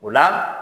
O la